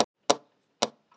Irja, viltu hoppa með mér?